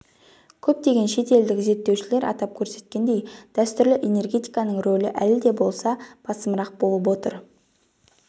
көптеген шет елдік зерттеушілер атап көрсеткендей дәстүрлі энергетиканың рөлі әлі де болса басымырақ болып отыр